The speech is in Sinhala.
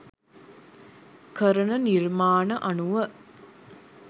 කරන නිර්මාණ අනුව.